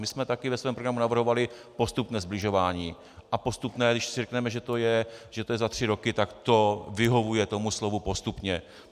My jsme také ve svém programu navrhovali postupné sbližování, a postupné - když si řekneme, že je to za tři roky tak to vyhovuje tomu slovu postupně.